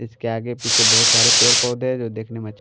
इसके आगे पीछे बहुत सारे पेर पौधे हैं जो देखने में --